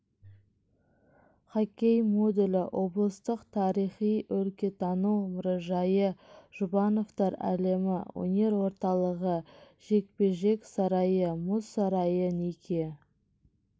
хоккей модулі облыстық тарихи-өлкетану мұражайы жұбановтар әлемі өнер орталығы жекпе жек сарайы мұз сарайы неке